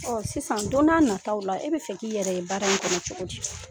sisan don n'a nataw la e be fɛ k'i yɛrɛ ye baara in kɔnɔ cogo di?